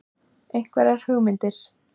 Einhverjar hugmyndir?